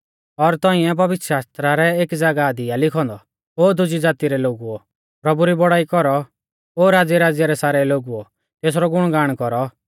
और तौंइऐ पवित्रशास्त्रा रै एकी ज़ागाह दी आ लिखौ औन्दौ ओ दुज़ी ज़ाती रै सारै लोगुओ प्रभु री बौड़ाई कौरौ ओ राज़्यराज़्य रै सारै लोगुओ तेसरौ गुणगाण कौरौ